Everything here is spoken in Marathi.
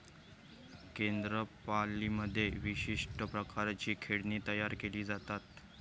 कोन्दापाल्लीमध्ये विशिष्ट प्रकारची खेळणी तयार केली जातात.